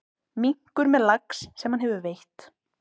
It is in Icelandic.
Minkur með lax sem hann hefur veitt.